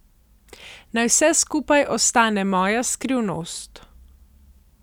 Naj vse skupaj ostane moja skrivnost.